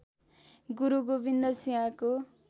गुरू गोबिन्द सिंहको